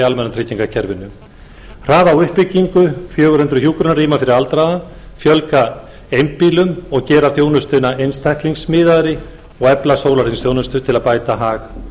almannatryggingakerfinu hraða á uppbyggingu fjögur hundruð hjúkrunarrýma fyrir aldraða fjölga einbýlum og gera þjónustuna einstaklingsmiðaðri og efla sólarhringsþjónustu til að bæta hag